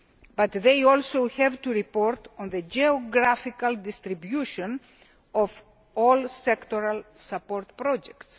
But they also have to report on the geographical distribution of all sectoral support projects.